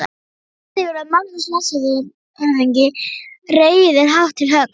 SÉRA SIGURÐUR: Magnús landshöfðingi reiðir hátt til höggs.